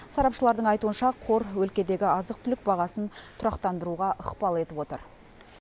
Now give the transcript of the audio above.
сарапшылардың айтуынша қор өлкедегі азық түлік бағасын тұрақтандыруға ықпал етіп отыр